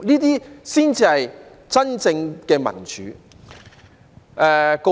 這才是真正民主。